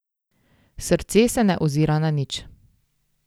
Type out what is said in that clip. Srce se ne ozira na nič.